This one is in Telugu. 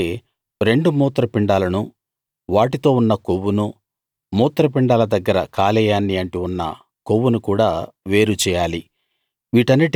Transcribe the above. అలాగే రెండు మూత్ర పిండాలనూ వాటితో ఉన్న కొవ్వునూ మూత్రపిండాల దగ్గర కాలేయాన్ని అంటి ఉన్న కొవ్వునూ కూడా వేరు చేయాలి